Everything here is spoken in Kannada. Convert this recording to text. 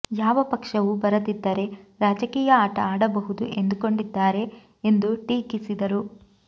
ಯಾವ ಪಕ್ಷವೂ ಬರದಿದ್ದರೆ ರಾಜಕೀಯ ಆಟ ಆಡಬಹುದು ಎಂದುಕೊಂಡಿದ್ದಾರೆ ಎಂದು ಟೀಕಿಸಿದರು